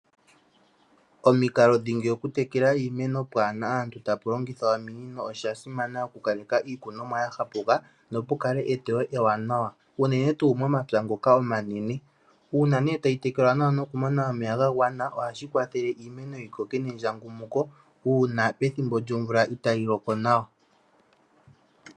Omikalo dhingi oku tekela iimeno pwaahena aantu taku longithwa ominino osha simana oku kaleka iikunomwa ya hapuka, no pu kale eteyo ewanawa, unene tuu momapya ngoka omanene. Uuna nee ta yi tekelwa nokumona omeya ga gwana oha shi kwathele iimeno yi koke mendjangumuko uuna omvula itaa yi loko nawa.